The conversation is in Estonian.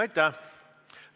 Aitäh!